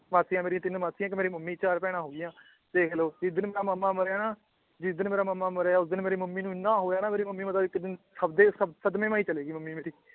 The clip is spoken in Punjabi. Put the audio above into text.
ਮਾਸੀਆਂ ਮੇਰੀਆਂ ਤਿੰਨ ਮਾਸੀਆਂ ਇਕ ਮੇਰੀ ਮਮ੍ਮੀ ਚਾਰ ਭੈਣਾਂ ਹੋਗੀਆਂ ਦੇਖਲੋ ਜਿਸ ਦਿਨ ਦਾ ਮਾਮਾ ਮਰਿਆ ਨਾ ਜਿਸ ਦਿਨ ਮੇਰਾ ਮਾਮਾ ਮਰਿਆ ਉਸ ਦਿਨ ਮੇਰੀ ਮਮ੍ਮੀ ਨੂੰ ਇਹਨਾਂ ਹੋਇਆ ਮੇਰੀ ਮਮ੍ਮੀ ਮਤਲਬ ਇਕ ਦਿਨ ਖੱਬੇ ਸ ਸਦਮੇ ਚ ਈ ਚਲੀ ਗਈ ਮਮ੍ਮੀ ਮੇਰੀ